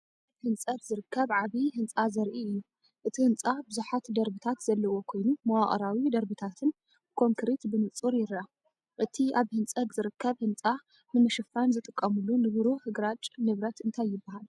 ኣብ ህንጸት ዝርከብ ዓቢ ህንጻ ዘርኢ እዩ። እቲ ህንጻ ብዙሕ ደርብታት ዘለዎ ኮይኑ፡ መዋቕራዊ ደርብታትን ብኮንክሪት ብንጹር ይርአ። እቲ ኣብ ህንጸት ዝርከብ ህንጻ ንምሽፋን ዝጥቀሙሉ ንብሩህ ግራጭ ንብረት እንታይ ይበሃል?